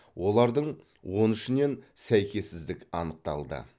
олардың он үшінен сәйкессіздік анықталды